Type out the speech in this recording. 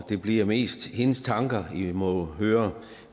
det bliver mest hendes tanker i må høre